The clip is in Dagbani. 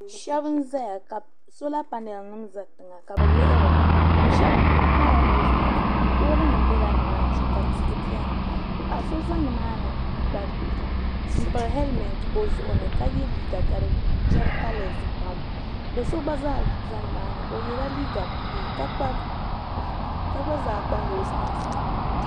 Sheba n zaya sola panaali nima za tiŋa ka bɛ lihiri li sheba kuli kpala noosi maasi nima pooli nima bela nimani shee ka tihi beni paɣa so za nimani n pili helimenti o zuɣuni ka ye liiga ka di gari kalasi pam do'so gba zaa za nimaani o yela liiga buluu ka gba zaa kpa noosi maasi.